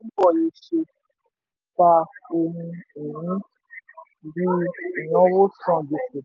ta ohun-ìní dín ìnáwó san gbèsè.